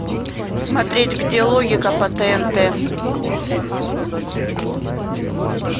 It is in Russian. смотреть где логика по тнт